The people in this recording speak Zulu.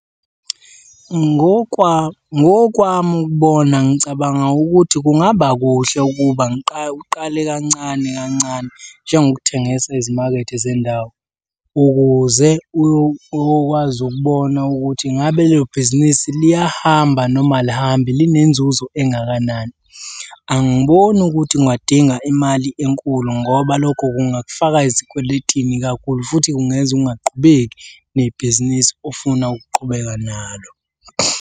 Ngokwami ukubona ngicabanga ukuthi kungaba kuhle ukuba uqale kancane kancane njengokuthengisa ezimakethe zendawo ukuze uyokwazi ukubona ukuthi ngabe lelo bhizinisi liyahamba noma alihambi, linenzuzo engakanani. Angiboni ukuthi ungadinga imali enkulu ngoba lokho kungakufaka ezikweletini kakhulu futhi kungenza ungaqhubeki nebhizinisi ofuna ukuqhubeka nalo.